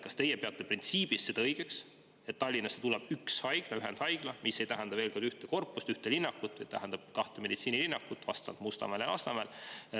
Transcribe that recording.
Kas teie peate põhimõtteliselt õigeks, et Tallinnasse tuleb üks ühendhaigla, mis ei tähenda ühte korpust ega ühte linnakut, vaid kahte meditsiinilinnakut Mustamäel ja Lasnamäel?